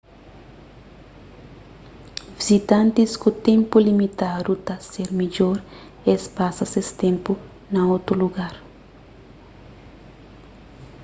vizitantis ku ténpu limitadu ta ser midjor es pasa ses ténpu na otu lugar